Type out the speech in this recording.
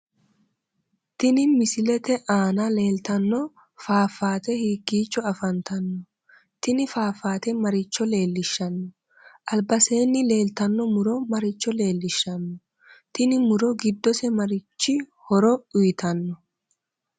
Tini misilete aana leeltano fafaate hiikkicho afanttanno tini fafaate maricho leeishanno albaseeni leettano muro maricho leelishanno tini muro giddose marichi horo uyiitano